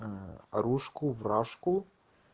аа рушку в рашку